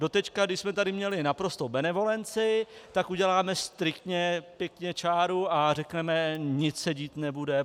Doteď když jsme tady měli naprostou benevolenci, tak uděláme striktně pěkně čáru a řekneme: Nic se dít nebude.